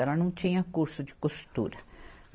Ela não tinha curso de costura.